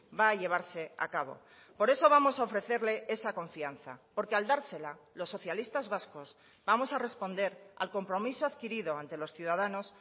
va a llevarse a cabo por eso vamos a ofrecerle esa confianza porque al dársela los socialistas vascos vamos a responder al compromiso adquirido ante los ciudadanos